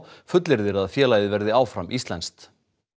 fullyrðir að félagið verði áfram íslenskt